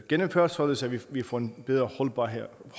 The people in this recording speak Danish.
gennemført således at vi får en bedre holdbarhed